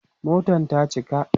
Motan ta cika